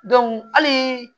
hali